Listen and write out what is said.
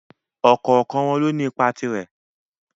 Ọ̀kọ̀ọ̀kan wọn lóní ipa tirẹ́.